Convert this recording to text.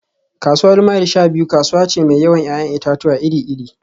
Kasuwar Mile-sha-biyu kasuwa ce mai yawan 'ya'yan itatuwa iri-iri